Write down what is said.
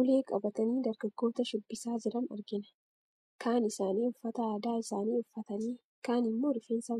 Ulee qabatanii dargaggoota shubbisaa jiran argina. Kaan isaanii uffata aadaa isaanii uffatanii, kaan immoo rifeensa